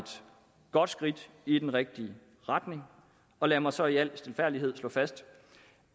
godt skridt i den rigtige retning og lad mig så i al stilfærdighed slå fast